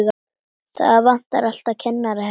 Það vantar alltaf kennara hérna.